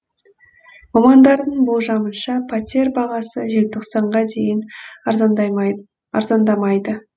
мамандардың болжамынша пәтер бағасы желтоқсанға дейін арзандамайды